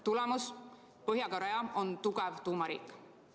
Tulemus: Põhja-Korea on tugev tuumariik.